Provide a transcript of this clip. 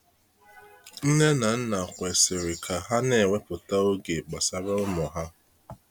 Nne na nna kwesịrị ka ha na ewepụta oge gbasara ụmụ ha.